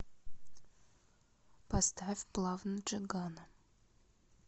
поставь плавно джигана